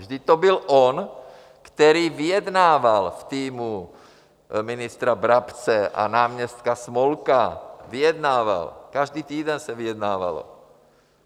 Vždyť to byl on, který vyjednával v týmu ministra Brabce a náměstka Smolka, vyjednával, každý týden se vyjednávalo.